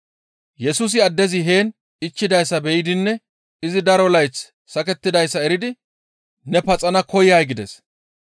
Yesusi addezi heen ichchidayssa be7idinne izi daro layth sakettidayssa eridi, «Ne paxana koyay?» gides.